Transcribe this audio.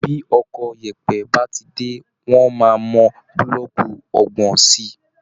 Bí ọkọ̀ yèèpẹ̀ bá ti dé, wọ́n máa mọ búlọ́ọ̀kù ọgbọ̀n sí i